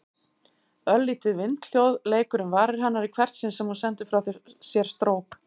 Örlítið vindhljóð leikur um varir hennar í hvert sinn sem hún sendir frá sér strók.